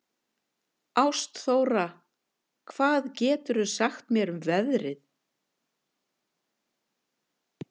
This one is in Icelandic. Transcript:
Ástþóra, hvað geturðu sagt mér um veðrið?